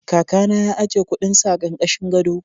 Kakana ya ajiye kuɗinsa a ƙarƙashin gado.